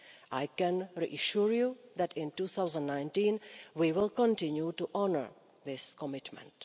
I can reassure you that in 2019 we will continue to honour this commitment.